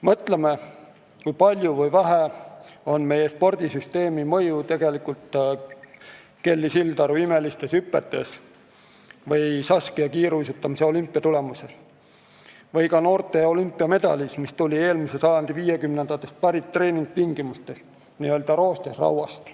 Mõtleme, kui palju või vähe on meie spordisüsteemi mõju tegelikult Kelly Sildaru imelistes hüpetes, Saskia kiiruisutamise olümpiatulemuses või ka noorte olümpiamedalis, mis tuli eelmise sajandi viiekümnendatest pärit treeningtingimustes, n-ö roostes rauast.